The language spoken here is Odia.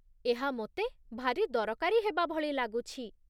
ଏହା ମୋତେ ଭାରି ଦରକାରୀ ହେବାଭଳି ଲାଗୁଛି